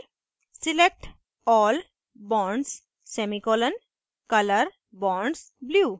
select all bonds semicolon color bonds blue select all bonds semicolon color bonds blue